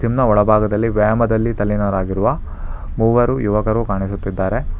Gym ನ ಒಳಭಾಗದಲ್ಲಿ ವ್ಯಾಯಾಮದಲ್ಲಿ ತಲ್ಲಿನರಾಗಿರುವ ಮೂವರು ಯುವಕರು ಕಾಣಿಸುತ್ತಿದ್ದಾರೆ.